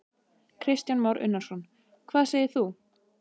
Kristján Már Unnarsson: Hvað segir þú?